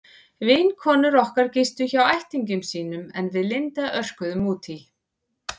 Vinkonur okkar gistu hjá ættingjum sínum en við Linda örkuðum út í